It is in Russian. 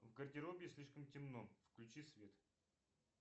в гардеробе слишком темно включи свет